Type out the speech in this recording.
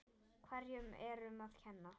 Hverju er um að kenna?